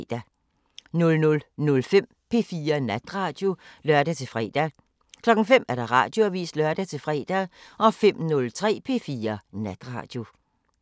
00:05: P4 Natradio (lør-fre) 05:00: Radioavisen (lør-fre) 05:03: P4 Natradio